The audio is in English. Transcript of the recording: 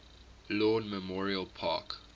lawn memorial park